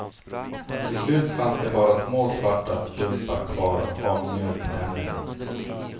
Till slut fanns det bara små svarta stumpar kvar av mjölktänderna.